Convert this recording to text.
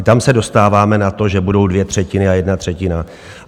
I tam se dostáváme na to, že budou dvě třetiny a jedna třetina.